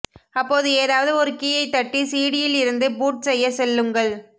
அப்போது ஏதாவது ஒரு கீயை தட்டி சிடியில் இருந்து பூட் செய்ய சொல்லுங்கள்